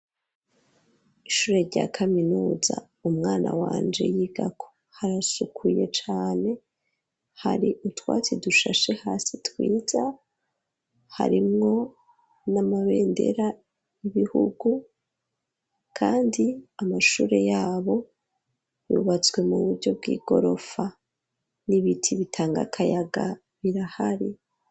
Ishure rya kaminuza umwana wanje yigako harasukuye cane hari utwatsi dushashe hasi twiza harimwo n'amabendera ibihugu kandi amashure yabo yubatswe mu buryo bw'igorofa n'ibiti bitanga akayaga birahari.